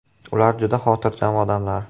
Ular juda xotirjam odamlar.